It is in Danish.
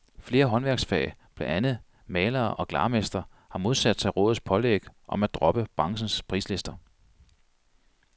Flere håndværksfag, blandt andet malere og glarmestre, har modsat sig rådets pålæg om at droppe branchens prislister.